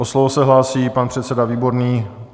O slovo se hlásí pan předseda Výborný.